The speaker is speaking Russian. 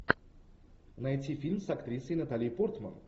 найти фильм с актрисой натали портман